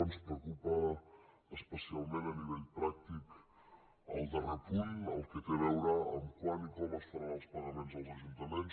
ens preocupa especialment a nivell pràctic el darrer punt el que té a veure amb quan i com es faran els pagaments als ajuntaments